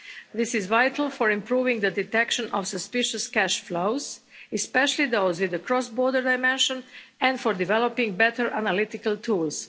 This is vital for improving the detection of suspicious cash flows, especially those with a cross border dimension, and for developing better analytical tools.